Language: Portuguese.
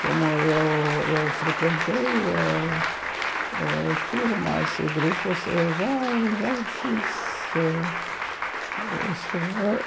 Como eu eu frequentei ãh ãh turmas e grupos, eu já já fiz isso. Eu